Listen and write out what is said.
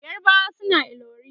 yarbawa suna ilori